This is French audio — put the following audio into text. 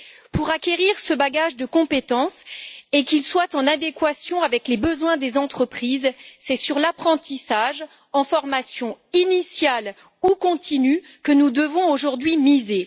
Pour acquérir ce bagage de compétences et pour qu'il soit en adéquation avec les besoins des entreprises, c'est sur l'apprentissage, en formation initiale ou continue, que nous devons aujourd'hui miser.